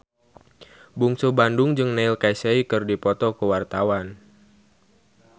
Bungsu Bandung jeung Neil Casey keur dipoto ku wartawan